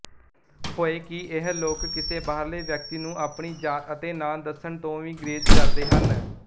ਹੋਏ ਕਿ ਇਹ ਲੋਕ ਕਿਸੇ ਬਾਹਰਲੇ ਵਿਅਕਤੀ ਨੂੰ ਆਪਣੀ ਜਾਤ ਅਤੇ ਨਾਂ ਦੱਸਣ ਤੋਂ ਵੀ